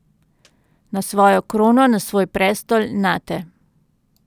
Na svojo krono, na svoj prestol, nate.